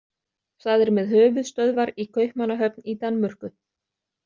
Það er með höfuðstöðvar í Kaupmannahöfn í Danmörku.